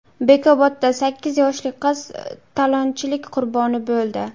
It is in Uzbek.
Bekobodda sakkiz yoshli qiz talonchilik qurboni bo‘ldi.